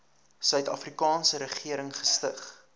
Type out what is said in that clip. suidafrikaanse regering gestig